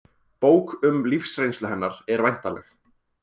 Bók um lífsreynslu hennar er væntanleg